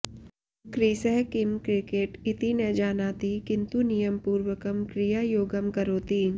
क्रिसः किं क्रिकेट इति न जानाति किन्तु नियमपूर्वकं क्रियायोगं करोति